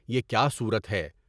یہ کیا صورت ہے؟